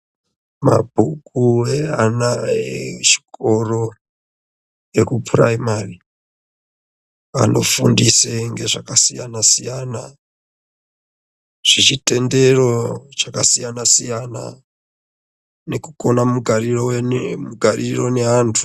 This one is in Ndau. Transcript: Mabhuku eana echikoro ekupuraimari anofundise ngezvakasiyana siyana zveechitendero chakasiyana nekukona mugariro weni mugariro neantu.